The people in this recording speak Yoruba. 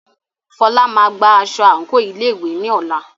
Fola máa gba aṣọ àǹkóò ilé ìwé ní ọ̀la.